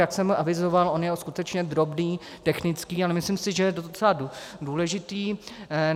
Jak jsem avizoval, on je skutečně drobný, technický, ale myslím si, že je docela důležitý.